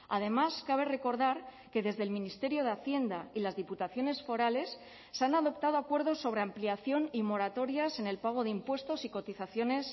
además cabe recordar que desde el ministerio de hacienda y las diputaciones forales se han adoptado acuerdos sobre ampliación y moratorias en el pago de impuestos y cotizaciones